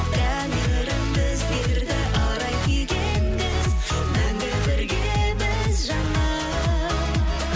тәңірім біздерді арай күйге енгіз мәңгі біргеміз жаным